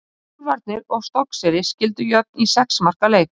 Úlfarnir og Stokkseyri skildu jöfn í sex marka leik.